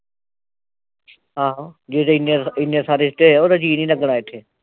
ਹਾ ਹੋ ਜਦੋਂ ਇੰਨੇ ਇੰਨੇ ਸਾਰੇ ਰਿਸ਼ਤੇ ਉਹਦਾ ਜੀ ਨਹੀਂ ਲੱਗਣਾ ਇਥੇ